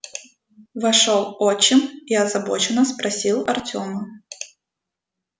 вошёл отчим и озабоченно спросил артёма